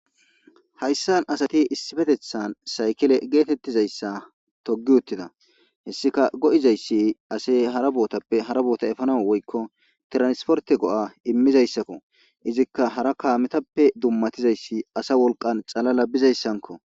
hayssan asati issifetethan saykile geetettizayssa togi uttida hessika go7izayssi ase hara bootappe hara boota efana woykko tiransporte go7a immizayssakko izikka hara kaametappe dummatizayssi asa wolqan calala bizayssanko